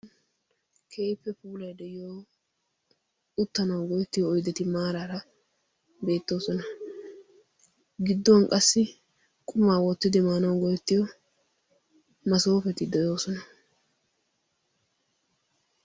kehippe puulai de7iyo uttanawu goettiyo oydeti maaraara beettoosona gidduwan qassi qumaa woottidi maanau goettiyo masoofeti de7oosona